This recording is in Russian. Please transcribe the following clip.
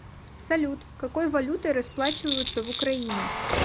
салют какой валютой расплачиваются в украине